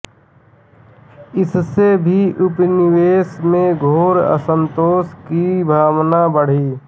इससे भी उपनिवेश में घोर असंतोष की भावना बढ़ी